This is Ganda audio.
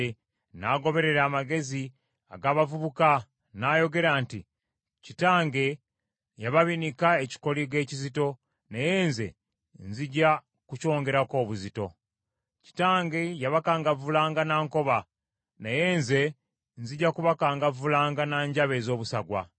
n’agoberera amagezi ag’abavubuka, n’ayogera nti, “Kitange yababinika ekikoligo ekizito, naye nze nzija kukyongerako obuzito. Kitange yabakangavvulanga na nkoba, naye nze nzija kubakangavvulanga na njaba ez’obusagwa.”